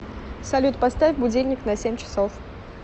салют поставь будильник на семь часов